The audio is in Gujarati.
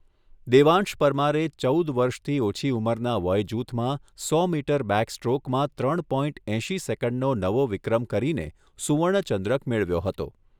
દેવાંશ પરમારે ચૌદ વર્ષથી ઓછી ઉંમરના વયજૂથમાં સો મીટર બેકસ્ટ્રોકમાં ત્રણ પોઇન્ટ એંશી સેકન્ડનો નવો વિક્રમ કરીને સુવર્ણચંદ્રક મેળવ્યો હતો.